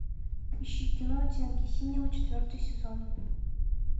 ищи кино оттенки синего четвертый сезон